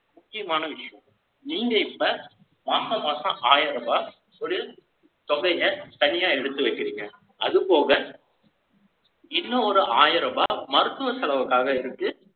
முக்கியமான விஷயம். நீங்க இப்ப, மாசம் மாசம் ஆயிரம் ரூபாய் தொழில் தொடைங்க, தனியா எடுத்து வைக்கிறீங்க. அது போக, இன்னும் ஒரு ஆயிரம் ரூபாய், மருத்துவ செலவுக்காக இருக்கு.